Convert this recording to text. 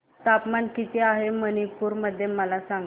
तापमान किती आहे मणिपुर मध्ये मला सांगा